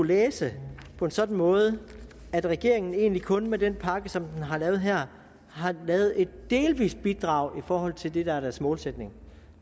læse på en sådan måde at regeringen egentlig kun med den pakke som den har lavet her har lavet et delvist bidrag i forhold til det der er dens målsætning